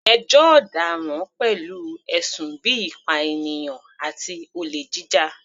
Ẹjọ́ ọ̀daràn pẹ̀lú ẹ̀sùn bíi ìpànìyàn àti olè jíjà.